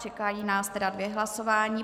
Čekají nás tedy dvě hlasování.